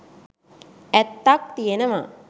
ඇත්තක් තියෙනව.